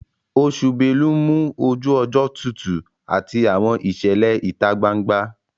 Oṣù belu ń mú ojú ọjọ́ tutù àti àwọn ìṣẹ̀lẹ̀ ìta gbangba